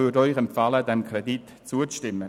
Die BaK empfiehlt Ihnen, dem Kredit zuzustimmen.